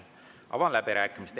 Avan läbirääkimised.